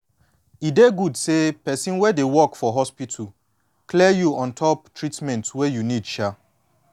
e dey good say person wey dey work for hospital clear you ontop treatment wey you you need um